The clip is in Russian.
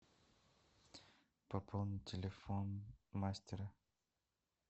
пополнить телефон мастера